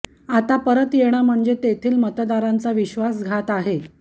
आता परत येणं म्हणजे तेथील मतदारांचा विश्वासघात आहे